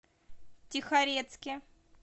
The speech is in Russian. тихорецке